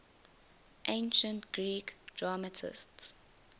ancient greek dramatists